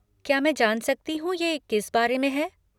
क्या मैं जान सकती हूँ ये किस बारे में है?